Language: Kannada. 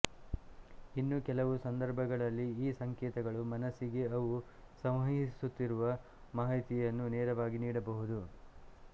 ಇನ್ನು ಕೆಲವು ಸಂದರ್ಭಗಳಲ್ಲಿ ಈ ಸಂಕೇತಗಳು ಮನಸ್ಸಿಗೆ ಅವು ಸಂವಹಿಸುತ್ತಿರುವ ಮಾಹಿತಿಯನ್ನು ನೇರವಾಗಿ ನೀಡಬಹುದು